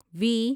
وی